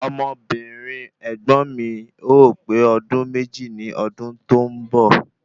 Ọmọbìnrin ẹ̀gbọ́n mi o pe ọdún méjì ní ọdún tó ń bọ̀